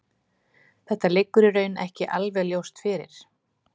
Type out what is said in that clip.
Þetta liggur í raun ekki alveg ljóst fyrir.